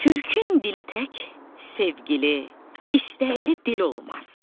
Türkün dili tək sevgili, istəkli dil olmaz.